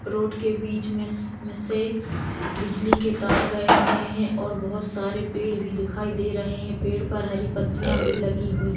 road के बीच में से - से बिजली के तार गए हुए हैं और बहुत सारे पेड़ भी दिखाई दे रहे हैं पेड़ पर हरि पत्तिया भी लगी हुई--